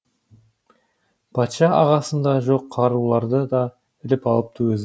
патша ағасында жоқ қаруларды да іліп алыпты өзі